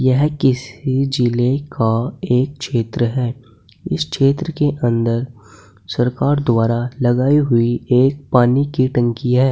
यह किसी जिले का एक क्षेत्र है इस क्षेत्र के अंदर सरकार द्वारा लगाई हुई एक पानी की टंकी है।